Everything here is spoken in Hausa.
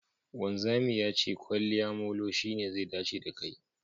Wanzami ya ce kwaliya molo shine zai dace da kai